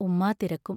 ഉമ്മാ തിരക്കും.